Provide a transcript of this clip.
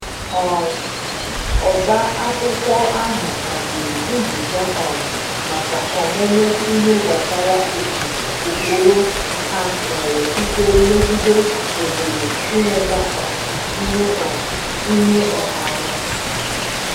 um Ọba akwụkwọ ahụ haziri nzukọ um maka ọmụmụ ihe gbasara otu ụkpụrụ ha nwere ike megide ohere inweta um ihe um ihe ọha nwe